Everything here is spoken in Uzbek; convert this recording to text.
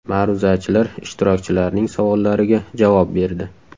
Ma’ruzachilar ishtirokchilarning savollariga javob berdi.